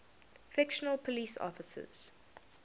fictional police officers